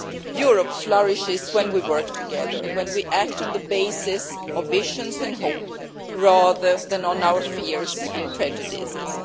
Europe flourishes when we work together, and when we act on the basis of visions and hope, rather than our fears and prejudices.